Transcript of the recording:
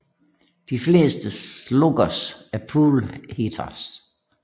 De fleste sluggers er pull hitters